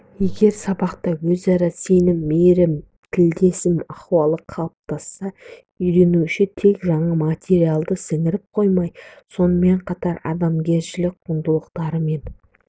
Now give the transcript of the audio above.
егер сабақта өзара сенім мейрім тілдесім ахуалы қалыптасса үйренуші тек жаңа материалды сіңіріп қоймай сонымен қатар адамгершілік құндылықтарымен